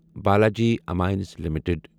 Balaji Amines limited